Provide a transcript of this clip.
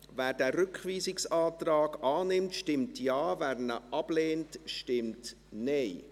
Wer diesen Rückweisungsantrag annimmtstimmt Jawer ihn ablehnt, stimmt Nein.